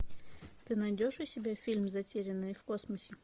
ты найдешь у себя фильм затерянные в космосе